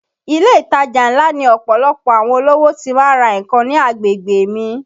Ilé ìtajà ńlá ni ọ̀pọ̀lọpọ̀ àwọn olówó ti má ń ra nǹkan ní agbègbè mi